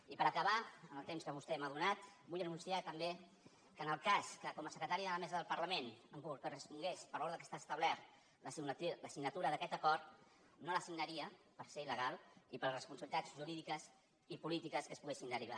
i per acabar en el temps que vostè m’ha donat vull anunciar també que en el cas que com a secretari de la mesa del parlament em correspongués per l’ordre que està establert la signatura d’aquest acord no la signaria per ser il·polítiques que se’n poguessin derivar